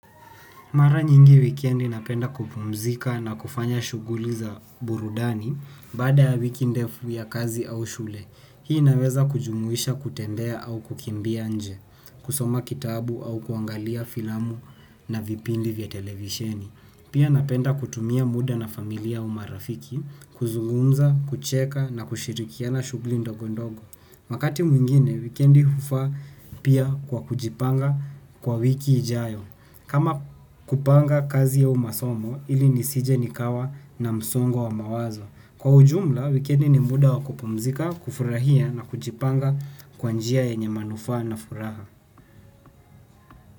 Mara nyingi wikendi napenda kupumzika na kufanya shughuli za burudani baada ya wiki ndefu ya kazi au shule. Hii inaweza kujumuisha kutembea au kukimbia nje, kusoma kitabu au kuangalia filamu na vipindi vya televisheni. Pia napenda kutumia muda na familia, au marafiki, kuzungumza, kucheka na kushiriki katika na shughuli ndogo ndogo. Wakati mwingine wikendi hufa pia kwa kujipanga kwa wiki ijayo. Kama kupanga kazi ya masomo ili nisije nikawa na msongo wa mawazo. Kwa ujumla, wikendi ni muda wa kupumzika, kufurahia na kujipanga kwa njia yenye manufaa na furaha.